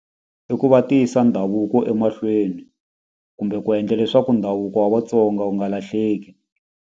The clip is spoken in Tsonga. I ku va ti yisa ndhavuko emahlweni kumbe ku endla leswaku ndhavuko wa Vatsonga wu nga lahleki.